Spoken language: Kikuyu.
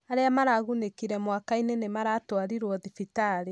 Arĩa maragunĩkire mwakinĩ nĩ maratwarirwo thibitarĩ.